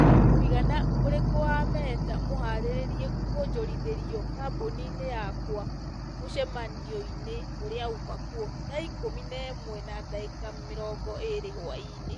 mũigana ũrĩkũ wa mehta mũharĩrie kwonjorithĩrio kambũni-inĩ yakwa mũcemanio-inĩ ũrĩa umakuo thaa ikũmi na ĩmwe na ndagĩka mĩrongo ĩĩrĩ hwaĩ-inĩ